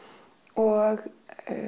og